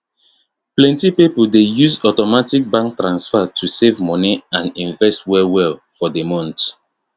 plenty people dey use automatic bank transfer to save money and invest well well for the month